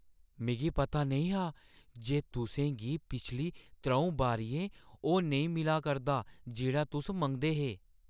मिगी पता नेईं हा जे तुसें गी पिछली त्रʼऊं बारियें ओह् नेईं मिला करदा जेह्ड़ा तुस मंगदे हे।